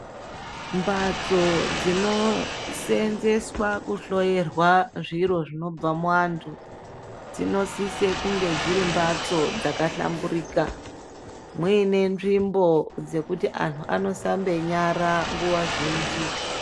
Mbatso dzinosenzeswa kuhloyerwa zviro zvinobva muantu. Dzinosise kunge dziri mbatso dzakahlamburuka, muine nzvimbo dzekuti antu anoshambe nyara nguwa zhinji.